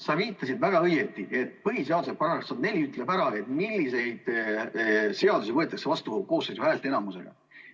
Sa viitasid väga õigesti, et põhiseaduse § 104 ütleb ära, milliseid seadusi võetakse vastu koosseisu häälteenamusega.